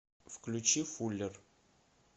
включи фуллер